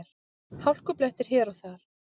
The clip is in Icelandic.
Hálkublettir hér og þar